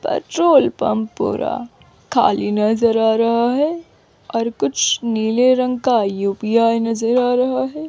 Petrol pump पूरा खाली नजर आ रहा है और कुछ नीले रंग का यू_पी_आई नजर आ रहा है।